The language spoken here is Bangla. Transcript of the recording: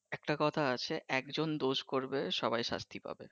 একটা কথা আছে একজন দোষ করবে সবাই শাস্তি পাবে